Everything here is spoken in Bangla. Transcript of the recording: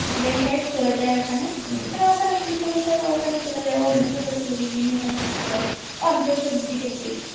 বেঁফ্রেস চলে যায় ওখানে মানে ও ওখানে খুঁজতে খুঁজতে ওখানে চলে যায় বন্ধ করে চলে যায় জিম্মি এখানে ঠকতে পারে ও যেহেতু Detective